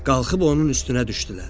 Qalxıb onun üstünə düşdülər.